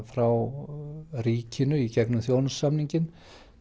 frá ríkinu í gegnum þjónustusamninginn